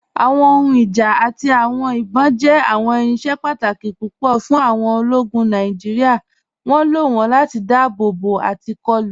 Awọn ohùn ìjá àti awọn ìbọn jẹ́ awọn irinṣẹ̀ pàtàkì pupọ̀ fún awọn òlógún Nàìjíríà. Wọn ló wọn láti dáàbòbò àti kọ̀lù.